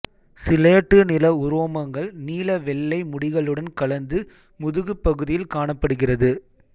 slate நிற உரோமங்கள் நீள வெள்ளை முடிகளுடன் கலந்து முதுகுப்பகுதியில் காணப்படுகிறது